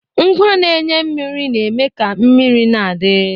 Ngwa na-enye mmiri na-eme ka mmiri na-adi.